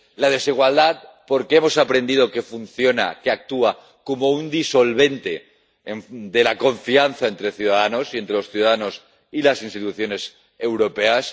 la desigualdad, porque hemos aprendido que funciona, que actúa como un disolvente de la confianza entre ciudadanos, y entre los ciudadanos y las instituciones europeas